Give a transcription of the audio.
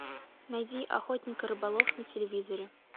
найди охотник и рыболов на телевизоре